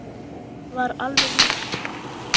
Það var alveg víst.